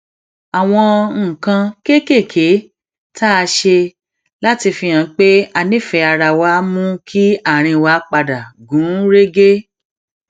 àwọn nǹkan kéékèèké tá a ṣe láti fihàn pé a nífèé ara wa mú kí àárín wa padà gún régé